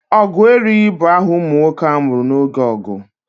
Ogueri bụ aha ụmụ nwoke a mụrụ oge ọgụ.